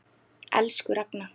Elsku Ragna.